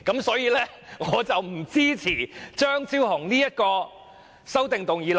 所以他們不支持張超雄議員的修正案。